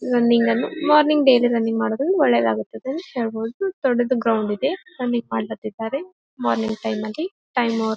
running ನ್ನು morning daily running ಮಾಡೋದು ಒಳ್ಳೇದಾಗುತ್ತದೆ ಹೇಳಬಹುದು ದೊಡ್ಡದು ಗ್ರೌಂಡ್ ಇದೆ ರನ್ನಿಂಗ್ ಮಾಡ್ಲತ್ತಿದ್ದಾರೆ ಮಾರ್ನಿಂಗ್ ಟೈಮ್ ಅಲ್ಲಿ ಟೈಮ್ ಓವರ್ --